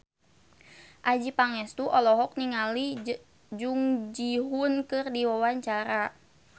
Adjie Pangestu olohok ningali Jung Ji Hoon keur diwawancara